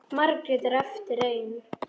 Margrét er eftir ein.